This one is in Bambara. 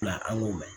An k'o mɛn